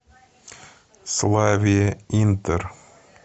славе интер